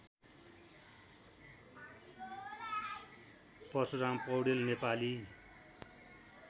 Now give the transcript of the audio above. Parshuram Poudel Nepali